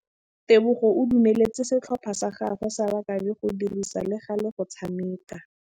Tebogô o dumeletse setlhopha sa gagwe sa rakabi go dirisa le galê go tshameka.